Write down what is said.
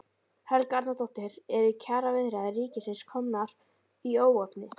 Helga Arnardóttir: Eru kjaraviðræður ríkisins komnar í óefni?